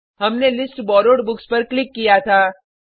हमने list borrowed books पर click किया था